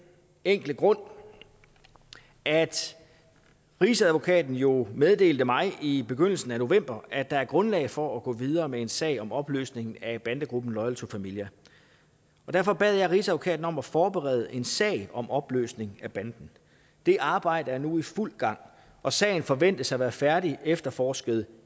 enkle grund at rigsadvokaten jo meddelte mig i begyndelsen af november at der er grundlag for at gå videre med en sag om opløsning af bandegruppen loyal to familia og derfor bad jeg rigsadvokaten om at forberede en sag om opløsning af banden det arbejde er nu i fuld gang og sagen forventes at være færdigefterforsket